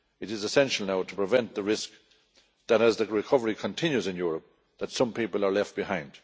It is essential now to prevent the risk that, as the recovery continues in Europe, some people are left behind.